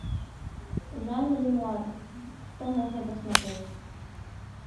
жан ренуар что можно посмотреть